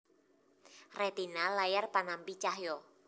Retina layar panampi cahya